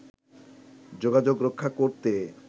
যোগাযোগ রক্ষা করতে